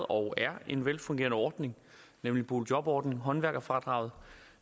og er en velfungerende ordning nemlig boligjobordningen håndværkerfradraget